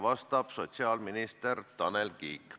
Vastab sotsiaalminister Tanel Kiik.